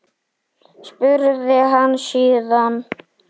spurði hann síðan.